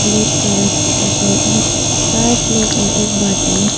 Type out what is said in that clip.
Plate का रंग सफेद है चार प्लेट और एक बाटी है।